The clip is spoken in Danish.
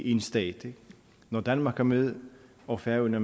én stat ikke når danmark er med og færøerne